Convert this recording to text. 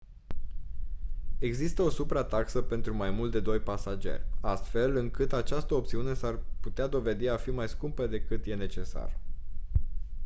există o suprataxă pentru mai mult de 2 pasageri astfel încât această opțiune s-ar putea dovedi mai a fi mai scumpă decât e necesar